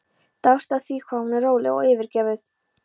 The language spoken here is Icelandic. Dáðst að því hvað hún er róleg og yfirveguð.